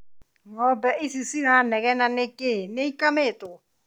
Ng’obe ici ciranegena nikĩĩ? Nĩ ikamirwo?